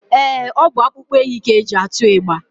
Ee, ọ bụ akpụkpọ ehi ka e ji atụ ịgba